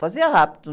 Fazia rápido.